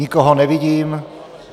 Nikoho nevidím.